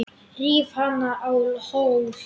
Ríf hana á hol.